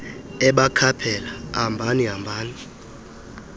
ebakhaphela hambani hambani